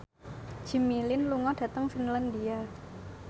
Jimmy Lin lunga dhateng Finlandia